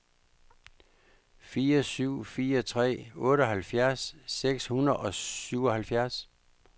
fire syv fire tre otteoghalvfjerds seks hundrede og syvoghalvfjerds